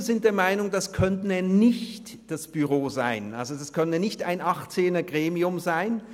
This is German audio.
Wir sind der Meinung, das könne nicht das Büro sein, es könne nicht ein 18er-Gremium sein.